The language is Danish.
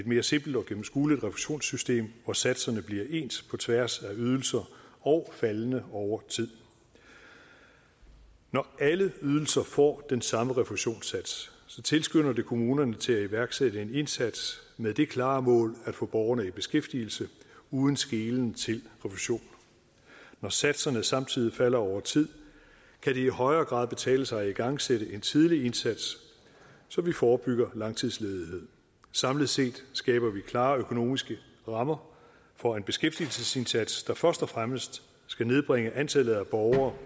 mere simpelt og gennemskueligt refusionssystem hvor satserne bliver ens på tværs af ydelser og faldende over tid når alle ydelserne får den samme refusionssats tilskynder det kommunerne til at iværksætte en indsats med det klare mål at få borgerne i beskæftigelse uden skelen til refusion når satserne samtidig falder over tid kan det i højere grad betale sig at igangsætte en tidlig indsats så vi forebygger langtidsledighed samlet set skaber vi klare økonomiske rammer for en beskæftigelsesindsats der først og fremmest skal nedbringe antallet af borgere